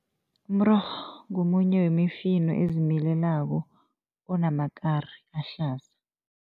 Umrorho ngomunye wemifino ezimilelako, onamakari ahlaza.